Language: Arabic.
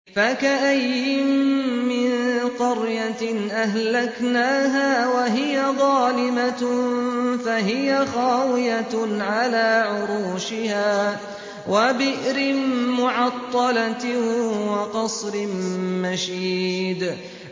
فَكَأَيِّن مِّن قَرْيَةٍ أَهْلَكْنَاهَا وَهِيَ ظَالِمَةٌ فَهِيَ خَاوِيَةٌ عَلَىٰ عُرُوشِهَا وَبِئْرٍ مُّعَطَّلَةٍ وَقَصْرٍ مَّشِيدٍ